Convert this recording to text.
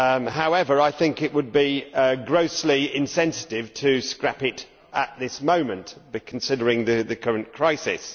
However, I think it would be grossly insensitive to scrap it at this moment, considering the current crisis.